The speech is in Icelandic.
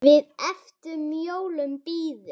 Við eftir jólum bíðum.